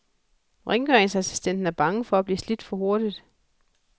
Rengøringsassistenten er bange for at blive slidt for hurtigt.